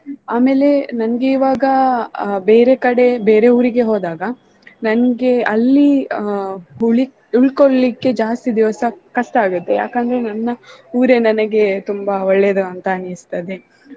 ಆಮೇಲೆ ನನ್ಗೆ ಇವಾಗ ಆ ಬೇರೆ ಕಡೆ ಬೇರೆ ಊರಿಗೆ ಹೋದಾಗ ನನ್ಗೆ ಅಲ್ಲಿ ಆ ಹುಳಿ~ ಉಳ್ಕೋಳ್ಲಿಕ್ಕೆ ಜಾಸ್ತಿ ದಿವಸ ಕಷ್ಟ ಆಗುತ್ತೆ ಯಾಕಂದ್ರೆ ನನ್ನ ಊರೇ ನನಗೆ ತುಂಬಾ ಒಳ್ಳೇದು ಅಂತ ಅನ್ನಿಸ್ತದೆ.